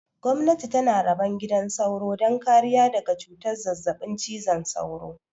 Gwamnati tana rabon gidan sauro don kariya daga cutar zazzaɓin cizon sauro